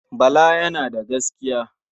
Bala yana da gaskiya.